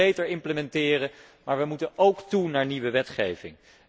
We moeten beter implementeren, maar we moeten ook toe naar nieuwe wetgeving.